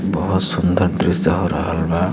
बहुत सुंदर दृश्य हो रहल बा।